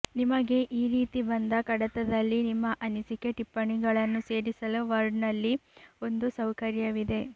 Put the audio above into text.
ನಿಮಗೆ ಈ ರೀತಿ ಬಂದ ಕಡತದಲ್ಲಿ ನಿಮ್ಮ ಅನಿಸಕೆ ಟಿಪ್ಪಣಿಗಳನ್ನು ಸೇರಿಸಲು ವರ್ಡ್ನಲ್ಲಿ ಒಂದು ಸೌಕರ್ಯವಿದೆ